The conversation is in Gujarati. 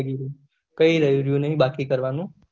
કઈ રેહવું નહી બાકી કરવાનું